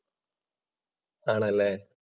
ആണല്ലേ.